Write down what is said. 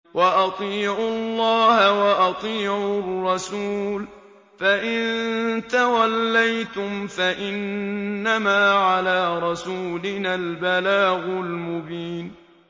وَأَطِيعُوا اللَّهَ وَأَطِيعُوا الرَّسُولَ ۚ فَإِن تَوَلَّيْتُمْ فَإِنَّمَا عَلَىٰ رَسُولِنَا الْبَلَاغُ الْمُبِينُ